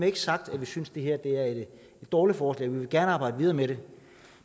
ikke sagt at vi synes det her er et dårligt forslag vi vil gerne arbejde videre med det